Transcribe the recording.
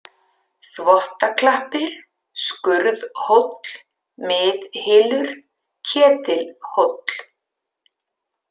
Þvottaklappir, Skurðhóll, Miðhylur, Ketilhóll